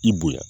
I bonya